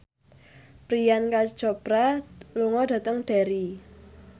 Priyanka Chopra lunga dhateng Derry